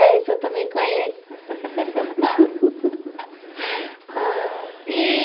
É, isso eu também conheço. Aí... E...